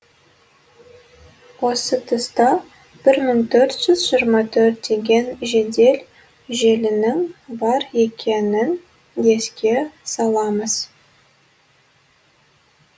осы тұста бір мың төрт жүз жиырма төрт деген жедел желінің бар екенін еске саламыз